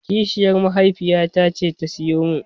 Kishiyar mahaifiyata ce ta siyo min.